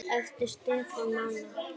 Eftir Stefán Mána.